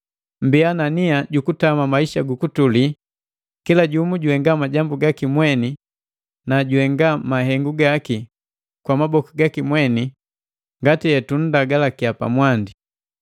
Mbia na nia jukutama maisha gu kutuli, kila jumu juhenga majambu gaki mweni na juhenga mahengu gaki kwa maboku gaki mweni ngati hetunndagalakia pamwandi.